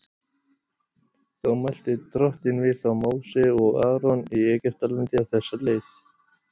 Þá mælti Drottinn við þá Móse og Aron í Egyptalandi á þessa leið:.